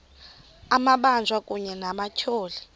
amabanjwa kunye nabatyholwa